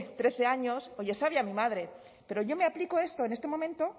trece años es sabia mi madre pero yo me aplico esto en este momento